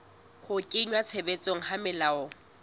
ho kenngwa tshebetsong ha melao